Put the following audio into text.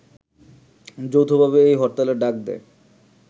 যৌথভাবে এই হরতালের ডাক দেয়